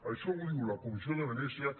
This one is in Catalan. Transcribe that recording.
això ho diu la comissió de venècia